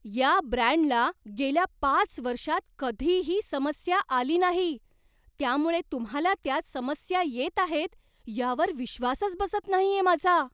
या ब्रँडला गेल्या पाच वर्षांत कधीही समस्या आली नाही, त्यामुळे तुम्हाला त्यात समस्या येत आहेत यावर विश्वासच बसत नाहीये माझा.